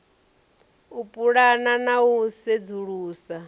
u pulana na u sedzulusa